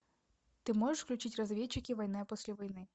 ты можешь включить разведчики война после войны